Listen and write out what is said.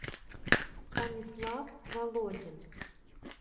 станислав володин